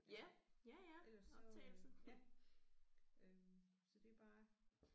Altså ellers så øh ja øh så det er bare